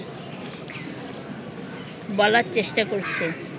বলার চেষ্টা করছে